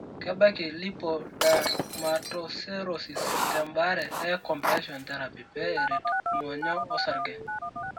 Kebaki Lipodermatoscerosis tembaare e compression therapy pee eret ing'onyo orsarge.